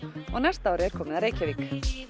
og á næsta ári er komið að Reykjavík